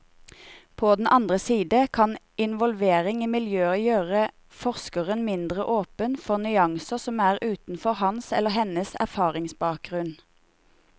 På den andre side kan involvering i miljøet gjøre forskeren mindre åpen for nyanser som er utenfor hans eller hennes erfaringsbakgrunn.